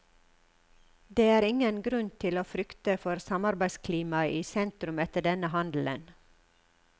Det er ingen grunn til å frykte for samarbeidsklimaet i sentrum etter denne handelen.